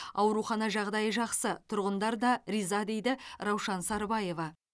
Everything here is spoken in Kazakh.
аурухана жағдайы жақсы тұрғындар да риза дейді раушан сарбаева